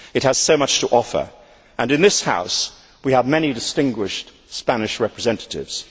It has so much to offer, and in this House we have many distinguished Spanish representatives.